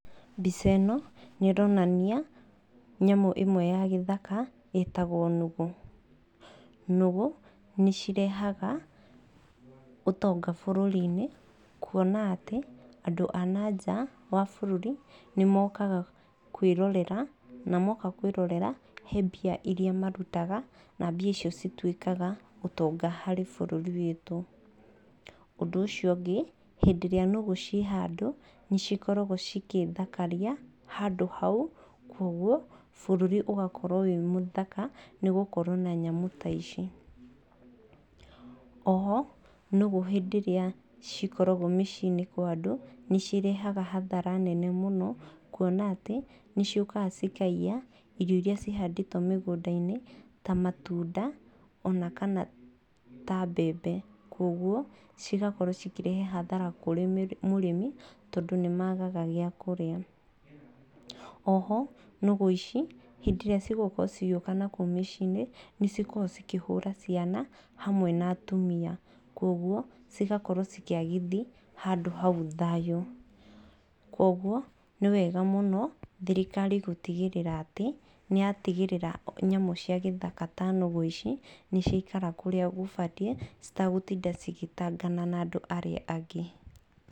Mbica ĩno, nĩ ĩronania nyamũ ĩmwe ya gĩthaka ĩtagwo nũgũ. Nũgũ nĩ cirehaga ũtonga bũrũri-inĩ kuona atĩ andũ a na nja wa bũrũri nĩ mokaga kwĩrorera, na moka kwĩrorera he mbia irĩa marutaga, na mbia icio cituĩkaga ũtonga harĩ bũrũri witũ. Ũndũ ũcio ũngĩ, hĩndĩ ĩrĩa nũgũ ciĩ handũ nĩ cikoragwo cigĩthakaria handũ hau koguo bũrũri ũgakorwo wĩ mũthaka, nĩ gũkorwo na nyamũ ta ici. Oho nũgũ hĩndĩ ĩrĩa cikoragwo mĩciĩ-inĩ kwa andũ, nĩ cirehaga hathara nene mũno, kuona atĩ nĩ ciũkaga cikaiya irio irĩa cihandĩtwo mĩgũnda-inĩ ta matunda ona kana ta mbembe. Koguo cigakorwo cikĩrehe hathara kũrĩ mũrĩmi tondũ nĩ maagaga gĩa kũrĩa. Oho, nũgũ ici hĩndĩ ĩrĩa cigũkorwo cigĩũka na kũu mĩciĩ-inĩ nĩ cikoragwo cikĩhũra ciana hamwe na atumia. Koguo cigakorwo cikĩagithia handũ hau thayũ. Koguo nĩ wega mũno thirikari gũtigĩrĩra atĩ nĩ yatigĩrĩra nyamũ cia gĩthaka ta nũgũ ici nĩ ciaikara kũrĩa gũbatiĩ citagũtinda cigĩtangana na andũ arĩa angĩ.